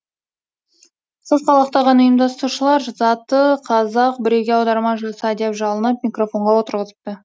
сасқалақтаған ұйымдастырушылар заты қазақ біреуге аударма жаса деп жалынып микрофонға отырғызыпты